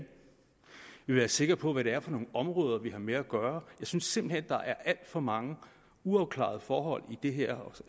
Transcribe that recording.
vil være sikre på hvad det er for nogle områder vi har med at gøre jeg synes simpelt hen der er alt for mange uafklarede forhold i det her